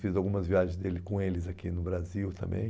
Fiz algumas viagens dele com eles aqui no Brasil também.